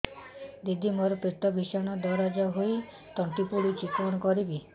ଦିଦି ମୋର ପେଟ ଭୀଷଣ ଦରଜ ହୋଇ ତଣ୍ଟି ପୋଡୁଛି କଣ କରିବି